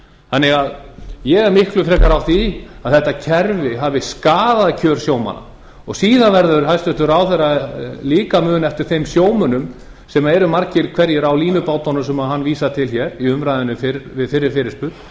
þannig að ég er miklu frekar á því að þetta kerfi hafi skaðað kjör sjómanna síðan verður hæstvirtur ráðherra líka að muna eftir þeim sjómönnum sem eru margir hverjir á línubátunum sem hann vísar til hér í umræðunni fyrir fyrri fyrirspurn